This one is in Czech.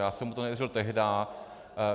Já jsem mu to nevěřil tehdá.